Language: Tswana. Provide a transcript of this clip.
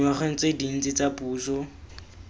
dingwageng tse dintsi tsa puso